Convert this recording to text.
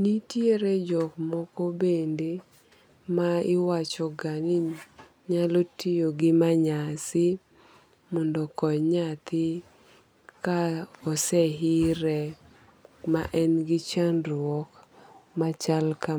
Nitiere jok moko bende maiwachogani nyalo tiyo gi manyasi mondo okony nyathi kaoseire ma engi chandruok machal kama.